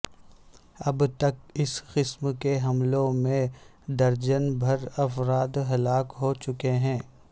اب تک اس قسم کے حملوں میں درجن بھر افراد ہلاک ہو چکے ہیں